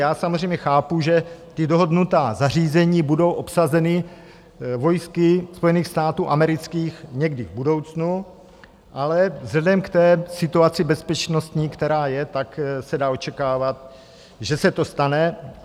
Já samozřejmě chápu, že ta dohodnutá zařízení budou obsazena vojsky Spojených států amerických někdy v budoucnu, ale vzhledem k té situaci bezpečnostní, která je, tak se dá očekávat, že se to stane.